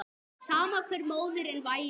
Sama hver móðirin væri.